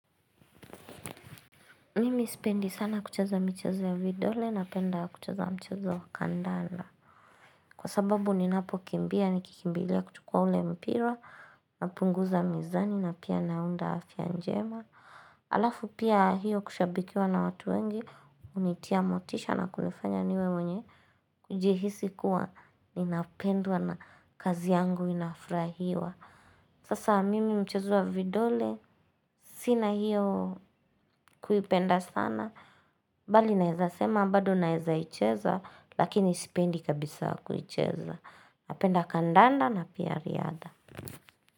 Mimi sipendi sana kucheza michezo ya vidole, napenda kucheza mchezo wa kandala. Kwa sababu ninapo kimbia nikikimbilia kuchukua ule mpira napunguza mizani na pia naunda afya njema. Alafu pia hiyo kushabikiwa na watu wengi, unitia motisha na kunifanya niwe mwenye, kujihisi kuwa ninapendwa na kazi yangu inafurahiwa. Sasa mimi mchezo wa vidole, sina hiyo kuipenda sana, bali naeza sema, bado naeza icheza, lakini sipendi kabisa kuicheza. Napenda kandanda na pia riadha.